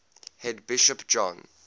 head bishop john